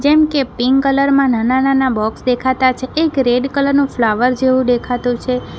કેમકે pink colour માં નાના નાના બોક્સ દેખાતા છે એક રેડ કલર નું ફ્લાવર જેવું દેખાતું છે.